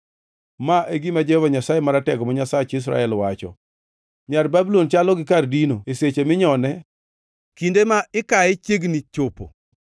Ma e gima Jehova Nyasaye Maratego, ma Nyasach Israel, wacho: “Nyar Babulon chalo gi kar dino e seche minyone; kinde ma ikaye chiegni chopo.”